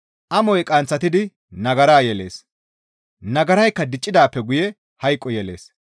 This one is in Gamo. Amoy qanththatidi nagara yelees; nagaraykka diccidaappe guye hayqo yelees.